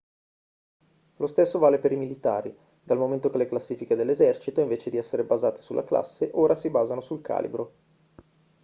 lo stesso vale per i militari dal momento che le classifiche dell'esercito invece di essere basate sulla classe ora si basano sul calibro